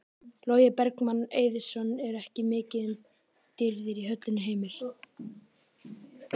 Logi Bergmann Eiðsson: Er ekki mikið um dýrðir í höllinni Heimir?